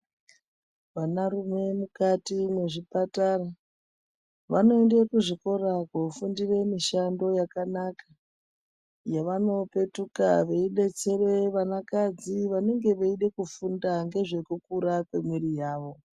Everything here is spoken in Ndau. Vanarume mukati mwezvipatara, vanoenda kuzvikora koofundire mishando yakanaka, yevano petuka veidetsere vanakadzi vanenge veide kufunda ngezvekukura kwemwiri yawo.